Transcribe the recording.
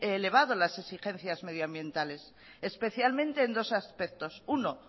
elevado las exigencias medioambientales especialmente en dos aspectos uno